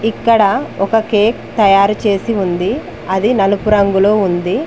ఇక్కడ ఒక కేక్ తయారు చేసి ఉంది అది నలుపు రంగులో ఉంది